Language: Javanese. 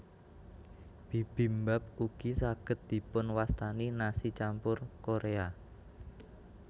Bibimbap ugi saged dipunwastani nasi campur Korea